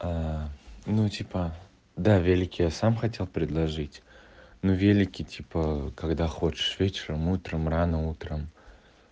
ну типа да велик я сам хотел предложить но велики типа когда хочешь вечером утром рано утром